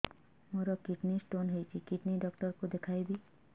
ମୋର kidney stone ହେଇଛି kidney doctor କୁ ଦେଖାଇବି